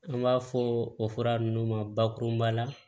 An b'a fɔ o fura ninnu ma bakurunba la